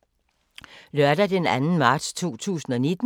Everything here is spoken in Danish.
Lørdag d. 2. marts 2019